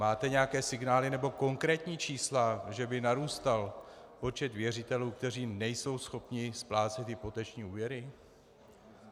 Máte nějaké signály nebo konkrétní čísla, že by narůstal počet věřitelů , kteří nejsou schopni splácet hypoteční úvěry?